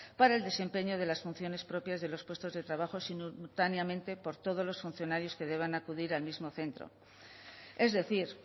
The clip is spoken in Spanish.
para el desempeño de las funciones propias de los puestos de trabajo simultáneamente por todos los funcionarios que deban acudir al mismo centro es decir